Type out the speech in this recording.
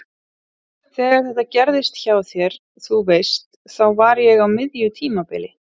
Þegar þetta gerðist hjá þér. þú veist. þá var ég á miðju tímabili.